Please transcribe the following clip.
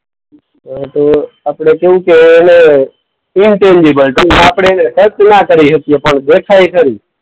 હા તો આપણે કેવું કે એને ઈનવિઝિબલ કે આપણે એને ટચ ના કરી શકીએ પણ દેખાય ખરી.